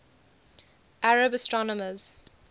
arab astronomers